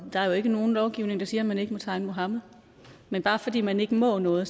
der er jo ikke nogen lovgivning der siger at man ikke må tegne muhammed men bare fordi man ikke må noget